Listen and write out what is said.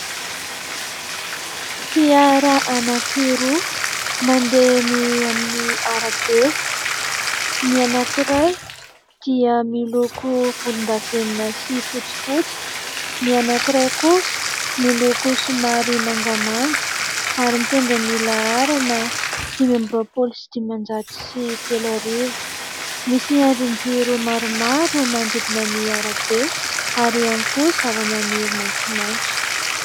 Fiara anankiroa mandeha eny amin'ny arabe : ny anankiray dia miloko volondavenona sy fotsifotsy, ny anankiray kosa miloko somary mangamanga ary mitondra ny laharana dimy amby roapolo sy dimanjato sy telo arivo. Misy andrinjiro maromaro manodidina ny arabe ary ihany koa zavamaniry maitsomaitso.